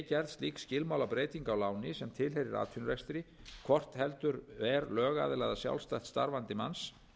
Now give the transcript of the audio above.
gerð slík skilmálabreyting á láni sem tilheyrir atvinnurekstri hvort heldur er lögaðila eða sjálfstætt starfandi manns